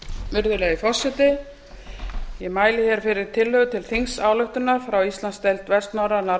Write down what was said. virðulegi forseti ég mæli hér fyrir tillögu til þingsályktunar til þingsályktunar frá íslandsdeild vestnorræna